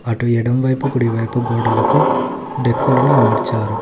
అటు ఎడమవైపు కుడివైపు గోడలకు డెక్కలను అమర్చారు.